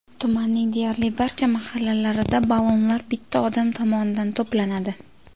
Tumanning deyarli barcha mahallalarida ballonlar bitta odam tomonidan to‘planadi.